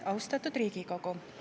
Austatud Riigikogu!